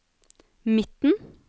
midten